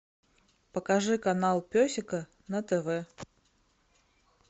покажи канал пес и ко на тв